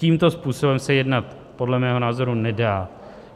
Tímto způsobem se jednat podle mého názoru nedá.